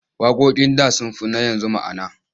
Waƙoƙin da sun fi na yanzu ma'ana.